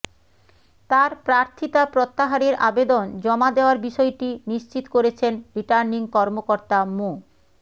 তার প্রার্থিতা প্রত্যাহারের আবেদন জমা দেওয়ার বিষয়টি নিশ্চিত করেছেন রিটার্নিং কর্মকর্তা মো